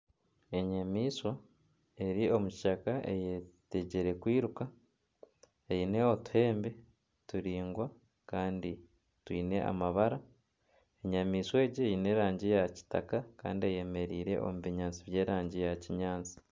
Enyamaishwa eri omu kishaka eyetegyire kwiruka eine otuhembe turaingwa kandi twine amabara, enyamaishwa egi eine erangi ya kitaka kandi eyemereire omu binyaatsi by'erangi ya kinyaatsi.